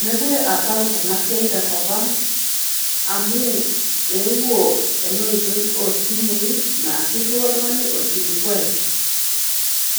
Mekure asapuk enasiai tenkop ang, amu eewuo enoitoi osimui, naa irriwaa oltung'ani orkilikwai.